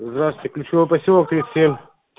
здравствуйте ключевой посёлок тридцать семь